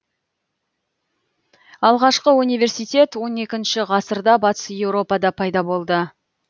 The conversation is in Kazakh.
алғашқы университет он екінші ғасырда батыс еуропада пайда болды